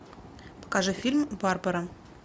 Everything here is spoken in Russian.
покажи фильм барбара